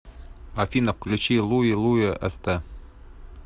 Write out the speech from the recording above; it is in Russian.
афина включи луи луи эстэ